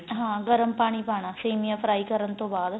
ਹਾਂ ਗਰਮ ਪਾਣੀ ਪਾਣਾਸੇਮੀਆਂ fry ਕਰਨ ਤੋਂ ਬਾਅਦ